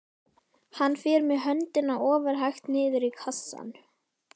Hann fer með höndina ofurhægt niður í kassann.